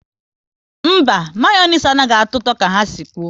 Mba, Mayonezi anaghị atọ ụtọ ka ha si kwụ